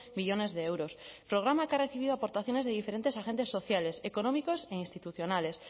millónes de euros programa que ha recibido aportaciones de diferentes agentes sociales económicos e institucionales